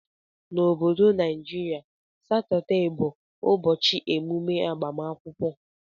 Na obodo naijiria satuday bu ụbọchi emume agbamakwụkwọ.